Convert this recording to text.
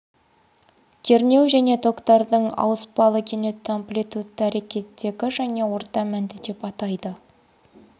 кернеу және токтардың ауыспалы кенетті амплитудты әрекеттегі және орта мәнді деп атайды